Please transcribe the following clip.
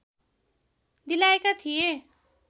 दिलाएका थिए